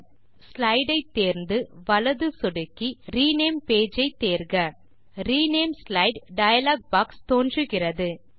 pages pane இல் slide ஐ தேர்ந்து வலது சொடுக்கி ரினேம் பேஜ் ஐ தேர்க ரினேம் ஸ்லைடு டயலாக் பாக்ஸ் தோன்றுகிறது